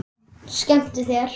Skemmtu þér.